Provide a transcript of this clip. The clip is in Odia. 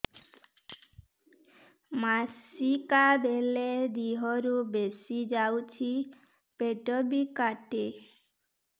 ମାସିକା ବେଳେ ଦିହରୁ ବେଶି ଯାଉଛି ପେଟ ବି କାଟେ